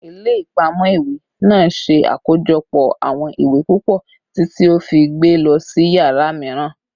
Ile-ipamọ iwe naa ṣe akojọpọ awọn iwe pupọ titi o fi gbe lọ si yara miiran